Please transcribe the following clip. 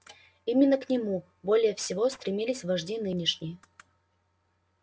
именно к нему более всего стремились вожди нынешние